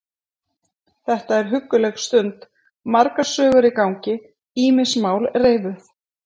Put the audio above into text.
Þetta er hugguleg stund, margar sögur í gangi, ýmis mál reifuð.